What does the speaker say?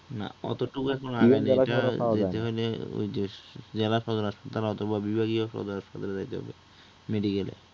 না অতটুকু এখন আগে ঐযে জেলা পরিষদ হাসপাতাল অথবা বিভাগীয় পরিষদ হাসপাতালে যাইতে হবে medical এ